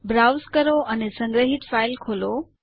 browse કરો અને સંગ્રહિત ફાઈલ ખોલો